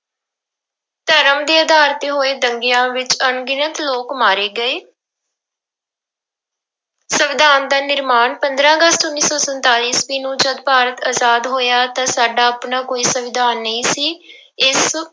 ਧਰਮ ਦੇ ਆਧਾਰ ਤੇ ਹੋਏ ਦੰਗਿਆਂ ਵਿੱਚ ਅਣਗਿਣਤ ਲੋਕ ਮਾਰੇ ਗਏ ਸੰਵਿਧਾਨ ਦਾ ਨਿਰਮਾਣ ਪੰਦਰਾਂ ਅਗਸਤ ਉੱਨੀ ਸੌ ਸੰਤਾਲੀ ਈਸਵੀ ਨੂੰ ਜਦ ਭਾਰਤ ਆਜ਼ਾਦ ਹੋਇਆ ਤਾਂ ਸਾਡਾ ਆਪਣਾ ਕੋਈ ਸੰਵਿਧਾਨ ਨਹੀਂ ਸੀ ਇਸ